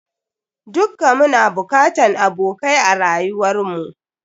Dukka muna bokatan abokai a rayuwar mu.